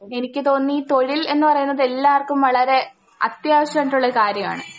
എനിക്ക് തോന്നുന്നു ഈ തൊഴിൽ എന്ന് പറയുന്നതെല്ലാർക്കും വളരെ അത്യാവശ്യായിട്ടുള്ള കാര്യാണ്.